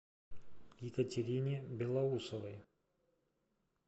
екатерине белоусовой